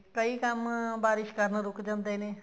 ਕਈ ਕੰਮ ਬਾਰਿਸ਼ ਕਾਰਣ ਰੁਕ ਜਾਂਦੇ ਨੇ